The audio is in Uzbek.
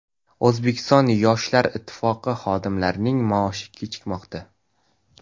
O‘zbekiston Yoshlar Ittifoqi xodimlarining maoshi kechikmoqda.